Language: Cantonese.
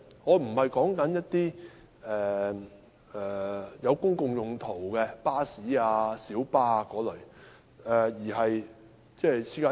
我所指的並非作公共用途的巴士、小巴等類別，而是私家車。